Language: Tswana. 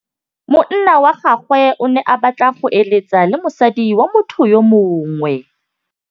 Monna wa gagwe o ne a batla go êlêtsa le mosadi wa motho yo mongwe.